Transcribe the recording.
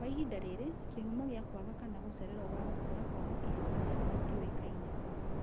Kwa ihinda rĩrĩ, kĩhumo gia kwaga kana gũcererwo gwa gũkũra kwa mũkiha wa rĩera gĩtiũĩkaine